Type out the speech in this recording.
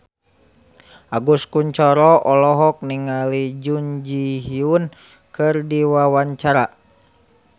Agus Kuncoro olohok ningali Jun Ji Hyun keur diwawancara